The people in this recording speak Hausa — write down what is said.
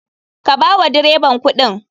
Ka bawa dreban kuɗin.